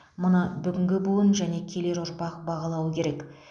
мұны бүгінгі буын және келер ұрпақ бағалауы керек